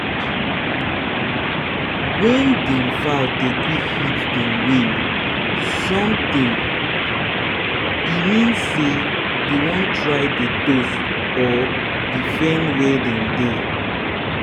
wen dem fowl dey quick hit dem wing sometime w mean say dey wan try toast or defend were dem dey